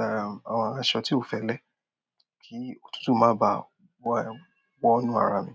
ẹǹ, àwọn aṣọ tí ò fẹ́lẹ́ kí òtútù má bá wọ, wọ inú ara mi.